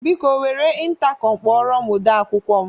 Biko, were ịntakọm kpọrọ m ode akwụkwọ m.